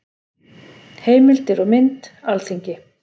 Heimildir og mynd: Alþingi.